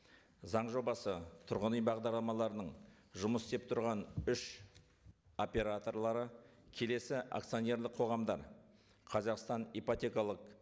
заң жобасы тұрғын үй бағдарламаларының жұмыс істеп тұрған үш операторлары келесі акционерлік қоғамдар қазақстан ипотекалық